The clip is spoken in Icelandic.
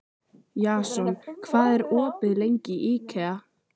Jason, hvað er opið lengi í IKEA?